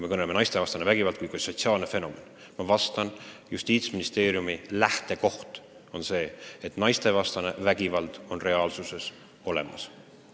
Ma vastan: Justiitsministeeriumi lähtekoht on see, et naistevastane vägivald on reaalsuses olemas.